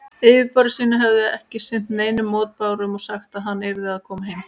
Yfirboðarar sínir hefðu ekki sinnt neinum mótbárum og sagt, að hann yrði að koma heim.